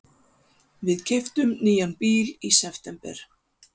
Við keyptum nýjan bíl í september.